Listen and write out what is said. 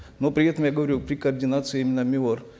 но при этом я говорю при координации именно миор